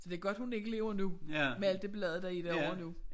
Så det godt hun ikke lever nu med al det ballade der er derovre nu